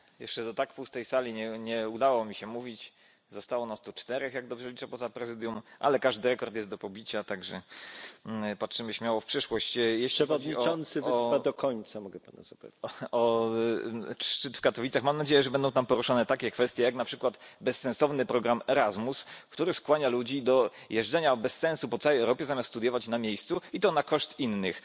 Panie Przewodniczący! Jeszcze do tak pustej sali nie udało mi się mówić. Zostało nas tu czterech, jak dobrze liczę, poza prezydium, ale każdy rekord jest do pobicia, także patrzymy śmiało w przyszłość. Jeśli chodzi o szczyt w Katowicach, mam nadzieję, że będą tam poruszone takie kwestie, jak na przykład bezsensowny program Erasmus, który skłania ludzi do jeżdżenia bez sensu po całej Europie zamiast studiować na miejscu, i to na koszt innych,